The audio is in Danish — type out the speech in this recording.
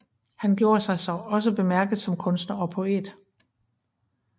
Han gjorde sig også bemærket som kunstner og poet